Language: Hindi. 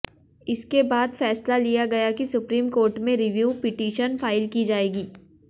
इसके बाद फैसला लिया गया कि सुप्रीम कोर्ट में रिव्यू पिटीशन फाइल की जाएगी